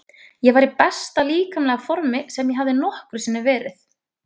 Ég var í besta líkamlega formi sem ég hafði nokkru sinni verið.